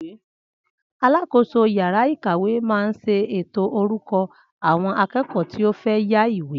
Alákòóso yàrá ìkàwé máa ṣe ètò orúkọ àwọn akẹ́kọ̀ọ́ tí ó fẹ́ yá ìwé